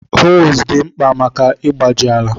Hoes dị mkpa maka ịgbaji ala.